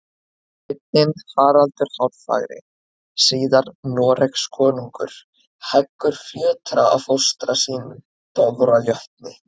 Sveinninn Haraldur hárfagri, síðar Noregskonungur, heggur fjötra af fóstra sínum, Dofra jötni.